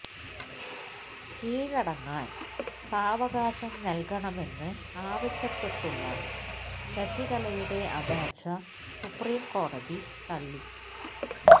കീഴടങ്ങാന് സാവകാശം നല്കണമെന്ന് ആവശ്യപ്പെട്ടുള്ള ശശികലയുടെ അപേക്ഷ സുപ്രീം കോടതി തള്ളി